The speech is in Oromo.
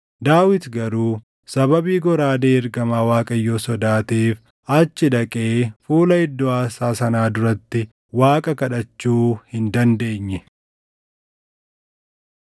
Daawit garuu sababii goraadee ergamaa Waaqayyoo sodaateef achi dhaqee fuula iddoo aarsaa sanaa duratti Waaqa kadhachuu hin dandeenye.